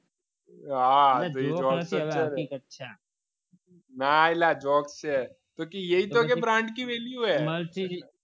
ના એટલે આ જોક્સ